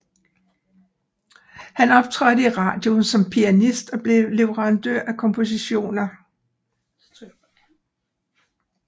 Han optrådte i radio som pianist og blev leverandør af kompositioner